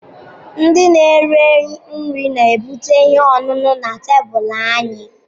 ndị na-ere nri na-ebute ihe ọṅụṅụ na tebụl anyị.